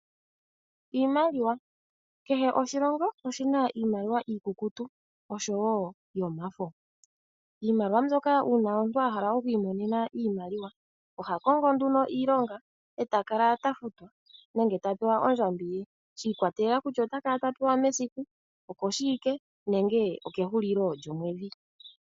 Iimaliwa, kehe oshilongo oshina iimaliwa iikukutu osho woo yomafo. Iimaliwa mbyoka uuna omuntu a hala oku imonena iimaliwa oha kongo nduno iilonga eta kala ta futwa nenge ta pewa ondjambi ye shi ikwatelela kutya ota kala ta pewa mesiku, okoshiwike nenge okehulilo lyomwedhi.